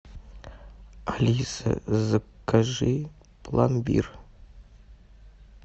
алиса закажи пломбир